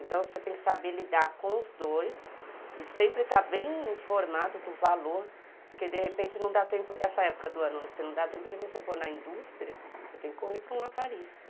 Então você tem que saber lidar com os dois e sempre estar bem informado do valor, porque de repente não dá tempo, nessa época do ano, você não dá tempo de você pôr na indústria, você tem que correr para um aparista.